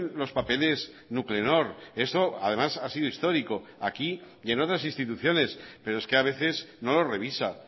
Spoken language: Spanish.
los papeles nuclenor eso además ha sido histórico aquí y en otras instituciones pero es que a veces no lo revisa